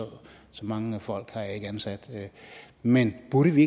mange folk har jeg ikke ansat men burde vi